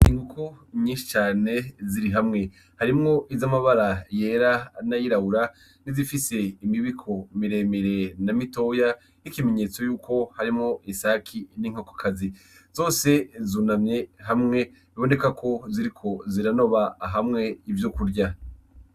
Inkoko nyinshi cane ziri hamwe harimwo izamabara yera nayirabura nizifise imibiko miremire na mitoya nk'ikimenyetseko yuko harimwo isake n'inkokokazi zose zunamye hamwe biboneka ko ziriko ziranoba hamwe ivyokurya.